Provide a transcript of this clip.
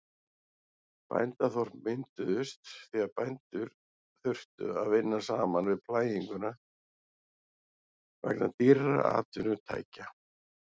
Bændaþorp mynduðust því að bændur þurftu að vinna saman við plæginguna vegna dýrra atvinnutækja.